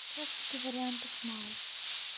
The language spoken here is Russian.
как раз-таки вариантов мало